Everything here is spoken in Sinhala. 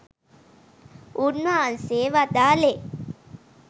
උන්වහන්සේ වදාළේ